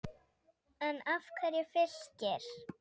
En af hverju Fylkir?